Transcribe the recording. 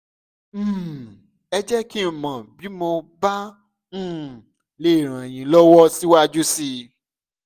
um ẹ jẹ́ kí n mọ̀ bí mo bá um lè ràn yín lọ́wọ́ síwájú sí i